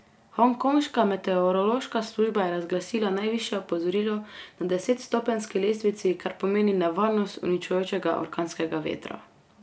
Hongkonška meteorološka služba je razglasila najvišje opozorilo na desetstopenjski lestvici, kar pomeni nevarnost uničujočega orkanskega vetra.